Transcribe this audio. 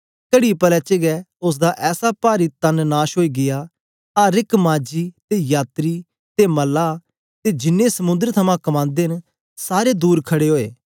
कड़ी पले च गै उस्स दा ऐसा पारी तन नाश ओई गीया अर एक माझी ते यात्री ते मल्लाह ते जिन्नें समुंद्र थमां कमांदे न सारे दूर खड़े ओए